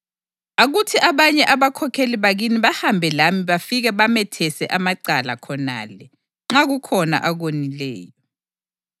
Akuthi abanye abakhokheli bakini bahambe lami bafike bamethese amacala khonale, nxa kukhona akonileyo.”